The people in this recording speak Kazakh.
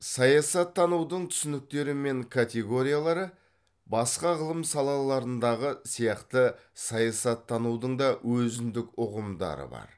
саясаттанудың түсініктері мен категориялары басқа ғылым салаларындағы сияқты саясаттанудың да өзіндік ұғымдары бар